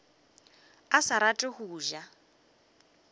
a sa rate go ja